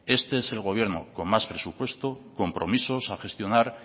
este es el gobierno con más presupuestos compromisos a gestionar